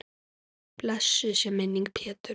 Blessuð sé minning Péturs.